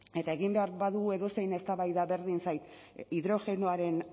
eta egin behar badugu edozein eztabaida berdin zait hidrogenoaren